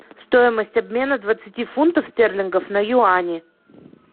стоимость обмена двадцати фунтов стерлингов на юани